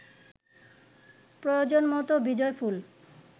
প্রয়োজন মতো বিজয়ফুল